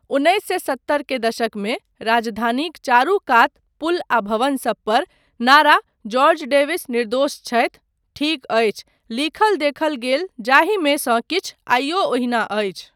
उन्नैस सए सत्तर के दशकमे राजधानीक चारू कात पुल आ भवन सब पर नारा जॉर्ज डेविस निर्दोष छथि, ठीक अछि, लिखल देखल गेल जाहिमे सँ किछु आइयो ओहिना अछि।